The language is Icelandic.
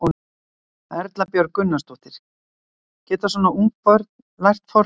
Erla Björg Gunnarsdóttir: Geta svona ung börn lært forritun?